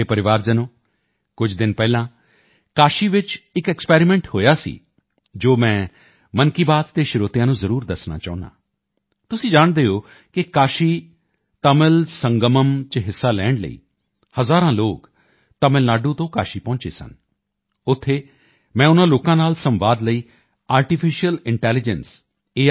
ਮੇਰੇ ਪਰਿਵਾਰਜਨੋਂ ਕੁਝ ਦਿਨ ਪਹਿਲਾਂ ਕਾਸ਼ੀ ਚ ਇੱਕ ਐਕਸਪੈਰੀਮੈਂਟ ਹੋਇਆ ਸੀ ਜੋ ਮੈਂ ਮਨ ਕੀ ਬਾਤ ਦੇ ਸਰੋਤਿਆਂ ਨੂੰ ਜ਼ਰੂਰ ਦੱਸਣਾ ਚਾਹੁੰਦਾ ਹਾਂ ਤੁਸੀਂ ਜਾਣਦੇ ਹੋ ਕਿ ਕਾਸ਼ੀ ਤਮਿਲ ਸੰਗਮਮ ਚ ਹਿੱਸਾ ਲੈਣ ਲਈ ਹਜ਼ਾਰਾਂ ਲੋਕ ਤਮਿਲ ਨਾਡੂ ਤੋਂ ਕਾਸ਼ੀ ਪਹੁੰਚੇ ਸਨ ਉੱਥੇ ਮੈਂ ਉਨ੍ਹਾਂ ਲੋਕਾਂ ਨਾਲ ਸੰਵਾਦ ਲਈ ਆਰਟੀਫੀਸ਼ਲ ਇੰਟੈਲੀਜੈਂਸ ਏ